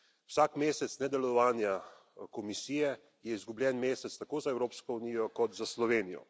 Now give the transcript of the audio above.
Vsak mesec nedelovanja Komisije je izgubljen mesec tako za Evropsko unijo kot za Slovenijo.